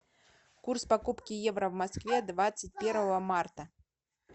курс покупки евро в москве двадцать первого марта